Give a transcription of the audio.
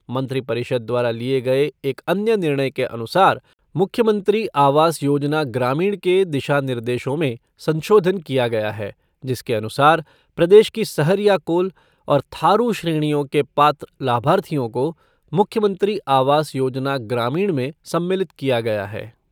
मंत्रिपरिषद् द्वारा लिये गए एक अन्य निर्णय के अनुसार मुख्यमंत्री आवास योजना ग्रामीण के दिशा निर्देशों में संशोधन किया गया है, जिसके अनुसार प्रदेश की सहरिया कोल और थारू श्रेणियों के पात्र लाभार्थियों को मुख्यमंत्री आवास योजना ग्रामीण में सम्मिलित किया गया है।